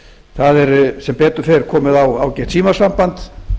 það er sem betur fer komið á ágætt símasamband